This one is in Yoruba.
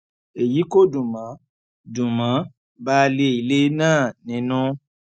èyí kò dùn mọ dùn mọ baálé ilé náà nínú